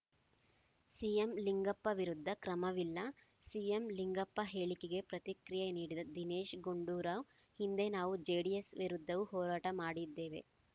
CM Lingappa ವಿರುದ್ಧ ಕ್ರಮವಿಲ್ಲ CM Lingappa ಹೇಳಿಕೆಗೆ ಪ್ರತಿಕ್ರಿಯೆ ನೀಡಿದ ದಿನೇಶ್‌ ಗುಂಡೂರಾವ್‌ ಹಿಂದೆ ನಾವು ಜೆಡಿಎಸ್‌ ವಿರುದ್ಧವೂ ಹೋರಾಟ ಮಾಡಿದ್ದೇವೆ